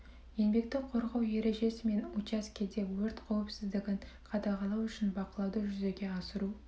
еңбекті қорғау ережесі мен учаскеде өрт қауіпсіздігін қадағалау үшін бақылауды жүзеге асыру